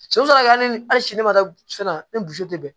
So ka kɛ hali ni hali sini ne ma taa fɛn na ne boso tɛ bɛn